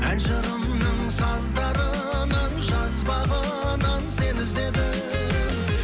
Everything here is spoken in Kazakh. ән жырымның саздарынан жазбағынан сені іздедім